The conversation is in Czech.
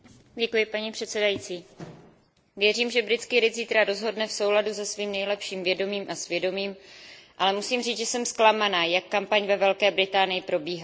Paní předsedající, věřím, že britský lid zítra rozhodne v souladu se svým nejlepším vědomím a svědomím, ale musím říct, že jsem zklamaná, jak kampaň ve Velké Británii probíhala.